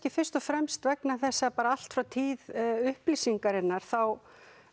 fyrst og fremst vegna þess að allt frá tíð upplýsingarinnar þá